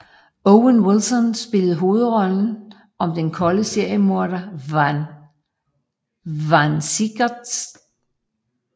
Owen Wilson spiller hovedrollen som den kolde seriemorder Vann Siegert